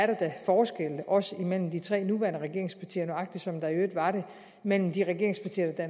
der da forskelle også imellem de tre nuværende regeringspartier nøjagtig som der i øvrigt var det mellem de regeringspartier der